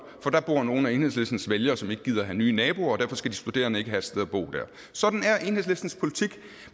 for der bor nogle af enhedslistens vælgere som ikke gider at have nye naboer og derfor skal de studerende ikke have et sted at bo der sådan er enhedslistens politik